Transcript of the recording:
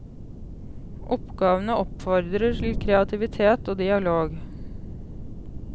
Oppgavene oppfordrer til kreativitet og dialog.